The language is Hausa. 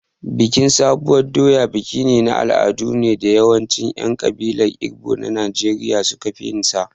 Bikin sabuwar doya bikin al'adu ne da yawancin 'yan kabilar Igbo na Najeriya suka fi yinsa.